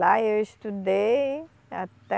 Lá eu estudei até